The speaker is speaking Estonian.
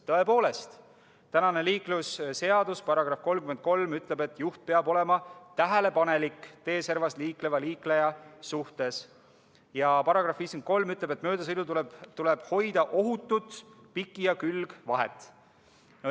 Tõepoolest, tänase liiklusseaduse § 33 ütleb, et juht peab olema tähelepanelik teeservas liikleva liikleja suhtes, ja § 53 ütleb, et möödasõidul tuleb hoida ohutut piki- ja külgvahet.